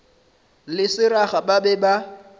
le seraga ba be ba